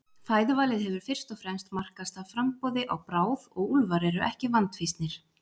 Fæðuvalið hefur fyrst og fremst markast af framboði á bráð og úlfar eru ekki vandfýsnir.